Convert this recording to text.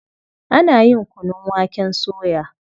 Ana yin kunun waken soya.